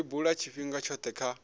li bula tshifhinga tshothe kha